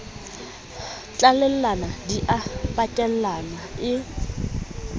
tlalellana di a pakellana e